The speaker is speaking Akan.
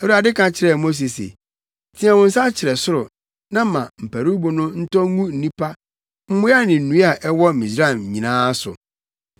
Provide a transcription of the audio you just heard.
Awurade ka kyerɛɛ Mose se, “Teɛ wo nsa kyerɛ soro na ma mparuwbo no ntɔ ngu nnipa, mmoa ne nnua a ɛwɔ Misraim nyinaa so.”